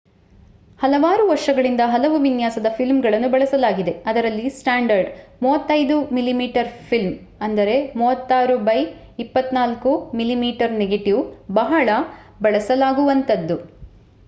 ಹಲವಾರು ವರ್ಷಗಳಿಂದ ಹಲವು ವಿನ್ಯಾಸದ ಫಿಲ್ಮ್‌ಗಳನ್ನು ಬಳಸಲಾಗಿದೆ. ಅದರಲ್ಲಿ standard 35 mm film 36 by 24 mm negative ಬಹಳ ಬಳಸಲಾಗುವಂತದ್ದು